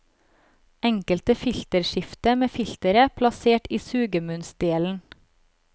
Enkelt filterskifte med filteret plassert i sugemunnsdelen.